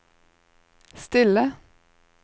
stille